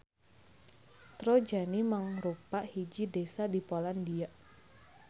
Trojany mangrupa hiji desa di Polandia.